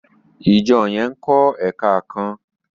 ìjọ yén nkó èka kán.